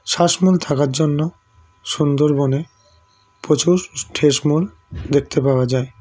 শ্বাসমূল থাকার জন্য সুন্দরবনে প্রচুর ঠেসমূল দেখতে পাওয়া যায়